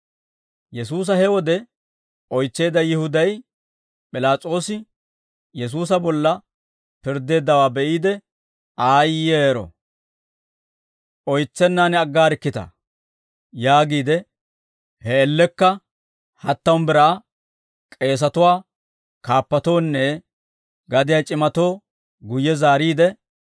Yesuusa he wode oytseedda Yihuday P'ilaas'oosi Yesuusa bolla pirddeeddawaa be'iide, «Aayyeero! Oytsennaan aggaarikkitaa!» yaagiide, he man''iyaan hattamu biraa k'eesatuwaa kaappatoonne gadiyaa c'imatoo guyye zaariide,